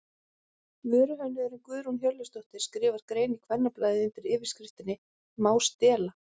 Vöruhönnuðurinn Guðrún Hjörleifsdóttir skrifar grein í Kvennablaðið undir yfirskriftinni Má stela?